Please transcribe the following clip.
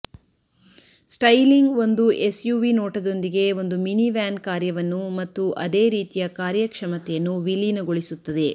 styling ಒಂದು SUV ನೋಟದೊಂದಿಗೆ ಒಂದು ಮಿನಿವ್ಯಾನ್ ಕಾರ್ಯವನ್ನು ಮತ್ತು ಅದೇ ರೀತಿಯ ಕಾರ್ಯಕ್ಷಮತೆಯನ್ನು ವಿಲೀನಗೊಳಿಸುತ್ತದೆ